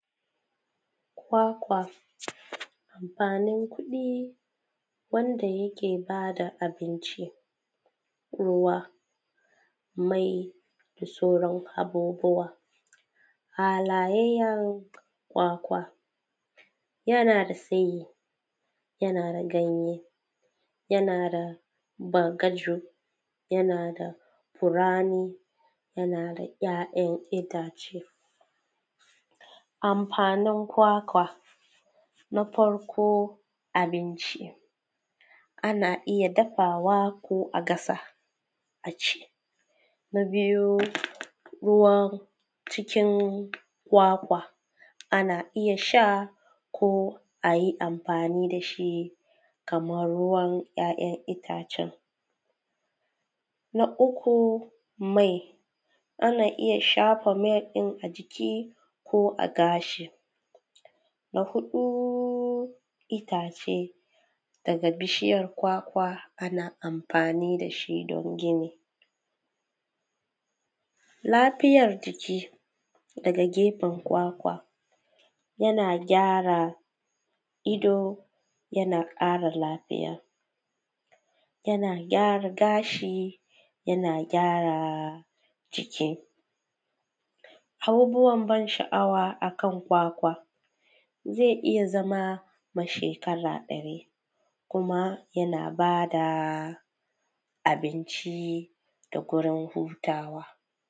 Kwakwa, amfanin kuɗi wanda yake ba da abinci, ƙurwa, mai da sauran abubuwa. Halayayyan kwakwa; yana da tsayi, yana da ganye, yana da bagaju, yana da furani, yana da ‘ya’yan itace. Amfanin kwakwa; na farko abinci; ana iya dafawa ko a gasa a ci. Na biyu, ruwan cikin kwakwa; ana iya sha ko a yi amfani da shi kamar ruwan ‘ya’yan itacen. Na uku, mai; ana iya shafa mai ɗin a jiki ko a gashi. Na huɗu, itace daga bishiyar kwakwa, ana amfani da shi don gini. Lafiyar jiki daga gefen kwakwa, yana gyara ido, yana ƙara lafiya, yana gyara gashi, yana gyara jiki. Abubuwan ban sha’awa akan kwakwa; zai iya zama ma shekara ɗari, kuma yana ba da abinci da gurin hutawa.